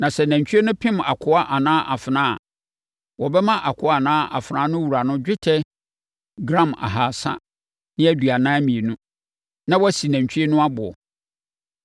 Na sɛ nantwie no pem akoa anaa afenaa a, wɔbɛma akoa anaa afenaa no wura dwetɛ gram ahasa ne aduanan mmienu (342), na wɔasi nantwie no aboɔ.